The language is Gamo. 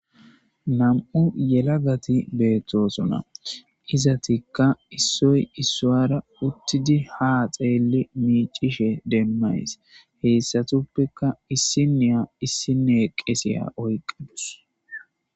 Nam7u yelagati beettosona izetikka issoy issowara ha xeellidi miiccishe dizaysa demmaysi hessatuppe issiniya issey qese oyqawus.